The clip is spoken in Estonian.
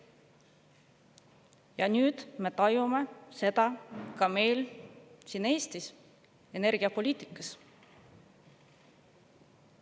Ja nüüd me tajume seda ka meil siin Eestis energiapoliitikas.